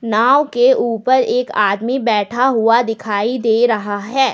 नांव के ऊपर एक आदमी बैठा हुआ दिखाई दे रहा है।